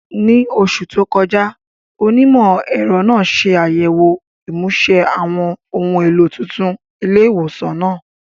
Ní oṣù tó kọjá, onímọ̀-ẹ̀rọ náà ṣe àyẹ̀wò ìmúṣe àwọn ohun èlò tuntun ilé ìwòsàn náà.